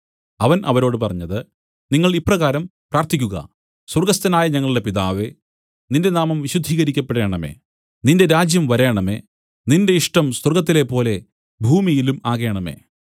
അവൻ അവരോട് പറഞ്ഞത് നിങ്ങൾ ഇപ്രകാരം പ്രാർത്ഥിക്കുക സ്വർഗ്ഗസ്ഥനായ ഞങ്ങളുടെ പിതാവേ നിന്റെ നാമം വിശുദ്ധീകരിക്കപ്പെടേണമേ നിന്റെ രാജ്യം വരേണമേ നിന്റെ ഇഷ്ടം സ്വർഗ്ഗത്തിലെപ്പോലെ ഭൂമിയിലും ആകേണമേ